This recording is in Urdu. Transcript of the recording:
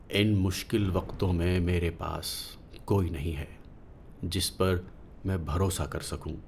ان مشکل وقتوں میں میرے پاس کوئی نہیں ہے جس پر میں بھروسہ کر سکوں۔